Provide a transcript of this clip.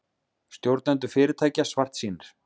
Stjórnendur fyrirtækja svartsýnir